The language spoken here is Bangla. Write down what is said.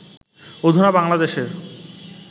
অধুনা বাংলাদেশের